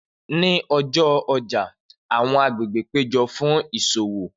Ni ọjọ ọja, awọn agbegbe pejọ fun iṣowo